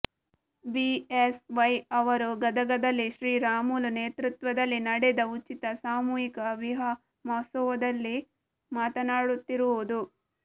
BS Y ಅವರು ಗದಗದಲ್ಲಿ ಶ್ರೀರಾಮುಲು ನೇತೃತ್ವದಲ್ಲಿ ನಡೆದ ಉಚಿತ ಸಾಮೂಹಿಕ ವಿವಾಹ ಮಹೋತ್ಸವದಲ್ಲಿ ಮಾತನಾಡುತ್ತಿರುವುದು